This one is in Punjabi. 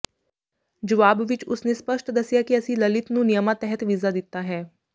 ਜਵਾਬ ਵਿਚ ਉਸ ਨੇ ਸਪਸ਼ਟ ਦੱਸਿਆ ਕਿ ਅਸੀਂ ਲਲਿਤ ਨੂੰ ਨਿਯਮਾਂ ਤਹਿਤ ਵੀਜ਼ਾ ਦਿੱਤਾ ਹੈ